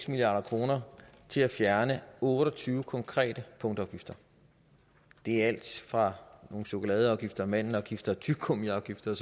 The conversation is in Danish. milliard kroner til at fjerne otte og tyve konkrete punktafgifter det er alt fra nogle chokoladeafgifter og mandelafgifter tyggegummiafgifter